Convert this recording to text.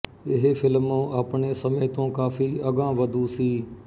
ਇਹ ਫਿਲਮ ਆਪਣੇ ਸਮੇਂ ਤੋਂ ਕਾਫੀ ਅਗਾਂਹਵਧੂ ਸੀ